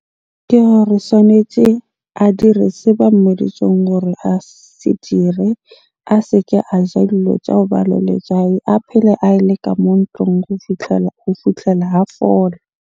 Ke gore swanetje a dire se ba mmoditseng hore a se dire. A se ke a ja tsa hoba le letswai. A phele a le ka mo ntlung go fitlhela a fola.